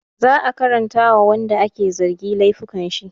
Za a karanta wa wanda ake zargi laifukan shi